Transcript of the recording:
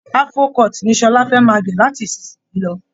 Afro-cut ni Sọlá fẹ́ máa gẹ̀ láti ìsinsìnyí lọ